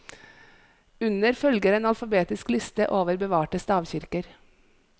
Under følger en alfabetisk liste over bevarte stavkirker.